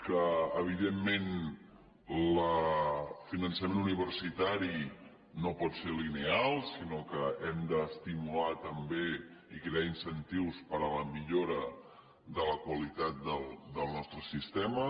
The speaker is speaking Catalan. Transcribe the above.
que evidentment el finançament universitari no pot ser lineal sinó que hem d’estimular també i crear incentius per a la mi·llora de la qualitat del nostre sistema